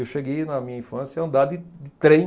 Eu cheguei na minha infância a andar de de trem.